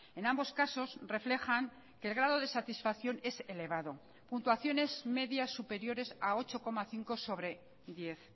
en ambos casos reflejan que el grado de satisfacción es elevado puntuaciones medias superiores a ocho coma cinco sobre diez